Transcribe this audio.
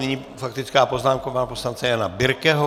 Nyní faktická poznámka pana poslance Jana Birkeho.